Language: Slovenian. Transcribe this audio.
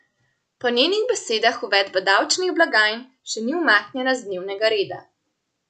Po njenih besedah uvedba davčnih blagajn še ni umaknjena z dnevnega reda.